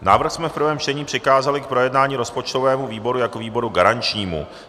Návrh jsme v prvém čtení přikázali k projednání rozpočtovému výboru jako výboru garančnímu.